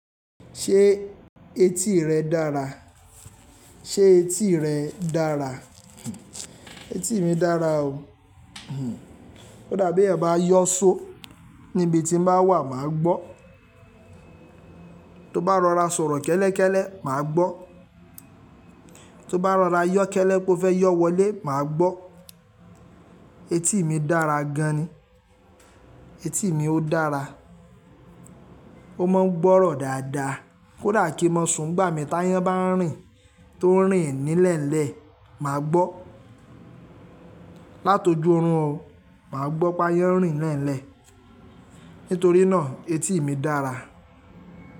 Ṣé etí rẹ dára? Ṣé etí rẹ dára? Etí mi dára o. Kódà bí eyan bá yọ́ ṣó, níbi tí mo bá wà, màá gbọ́. To bá rọra sọ̀rọ̀ kẹ́lẹ́kẹ́lẹ́, màá gbọ́. To bá rọra yọ́ kẹ́lẹ́ pé ó fẹ́ yọ́ wọlé, màá gbọ́. Etí mi dára gan ni. Etí mi ó dára. Ó máa ń gbọ́rọ̀ dáadáa. Kódà kí mo sun gbà mí táyán bá ń rìn tó ń rìn nílẹ̀lẹ́, màá gbọ́. Látoju orùn o, màá gbọ́ pé ayán ń rìn nílẹ̀lẹ́. Nítorí náà etí mi dára.